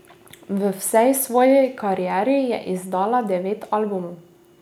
V vsej svoji karieri je izdala devet albumov.